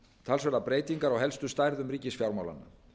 talsverðar breytingar á helstu stærðum ríkisfjármálanna